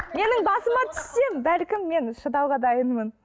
менің басыма түссе бәлкім мен шыдауға дайынмын